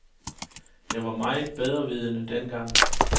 Jeg var meget bedrevidende dengang.